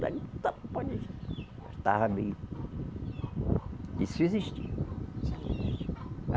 Estava meio Isso existia.